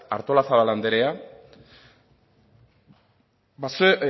artolazabal anderea